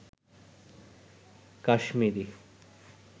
Kashmiri